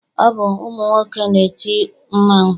Ọ bụ ụmụnwoke na-eti mmanwụ.